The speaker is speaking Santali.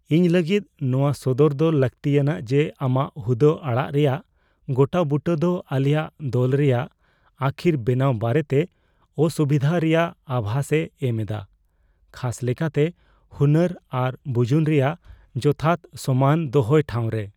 ᱤᱧ ᱞᱟᱹᱜᱤᱫ ᱱᱚᱶᱟ ᱥᱚᱫᱚᱨ ᱫᱚ ᱞᱟᱹᱠᱛᱤᱭᱟᱱᱟᱜ ᱡᱮ ᱟᱢᱟᱜ ᱦᱩᱫᱟᱹ ᱟᱲᱟᱜ ᱨᱮᱭᱟᱜ ᱜᱚᱴᱟᱼᱵᱩᱴᱟᱹ ᱫᱚ ᱟᱞᱮᱭᱟᱜ ᱫᱚᱞ ᱨᱮᱭᱟᱜ ᱟᱹᱠᱷᱤᱨ ᱵᱮᱱᱟᱣ ᱵᱟᱨᱮᱛᱮ ᱚᱥᱩᱵᱤᱫᱷᱟ ᱨᱮᱭᱟᱜ ᱟᱵᱷᱟᱥ ᱮ ᱮᱢ ᱮᱫᱟ, ᱠᱷᱟᱥ ᱞᱮᱠᱟᱛᱮ ᱦᱩᱱᱟᱹᱨ ᱟᱨ ᱵᱩᱡᱩᱱ ᱨᱮᱭᱟᱜ ᱡᱚᱛᱷᱟᱛ ᱥᱚᱢᱟᱱ ᱫᱚᱦᱚᱭ ᱴᱷᱟᱣᱨᱮ ᱾